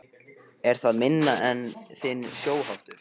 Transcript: Er það minn eða þinn sjóhattur?